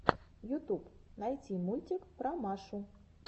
ютуб найти мультик про машу